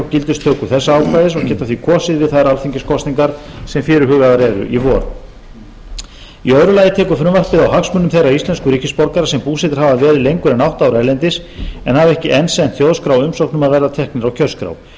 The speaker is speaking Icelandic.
gildistöku þessa ákvæðis og geta því kosið við þær alþingiskosningar sem fyrirhugaðar eru í vor í öðru lagi tekur frumvarpið á hagsmunum þeirra íslensku ríkisborgara sem búsettir hafa verið lengur en átta ár erlendis en hafa ekki enn sent þjóðskrá umsókn um að verða teknir á kjörskrá nú